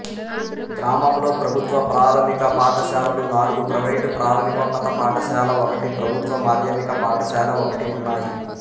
గ్రామంలో ప్రభుత్వ ప్రాథమిక పాఠశాలలు నాలుగు ప్రైవేటు ప్రాథమికోన్నత పాఠశాల ఒకటి ప్రభుత్వ మాధ్యమిక పాఠశాల ఒకటి ఉన్నాయి